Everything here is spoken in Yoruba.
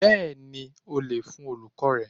Bẹ́ẹ̀ni o lè fún Olùkọ́ọ̀ rẹ.